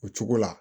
O cogo la